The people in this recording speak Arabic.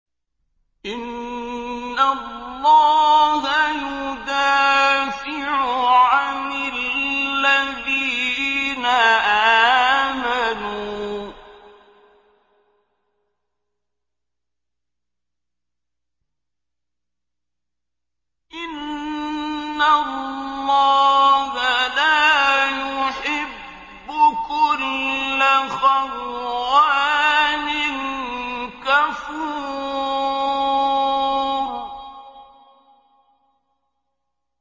۞ إِنَّ اللَّهَ يُدَافِعُ عَنِ الَّذِينَ آمَنُوا ۗ إِنَّ اللَّهَ لَا يُحِبُّ كُلَّ خَوَّانٍ كَفُورٍ